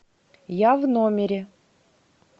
я в номере